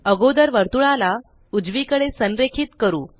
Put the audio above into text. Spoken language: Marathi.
अगोदर वर्तुळाला उजवीकडे संरेखित करू